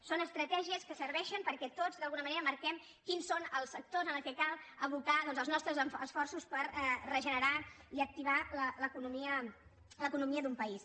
són estratègies que serveixen perquè tots d’alguna manera marquem quins són els sectors en què cal abocar doncs els nostres esforços per regenerar i activar l’economia d’un país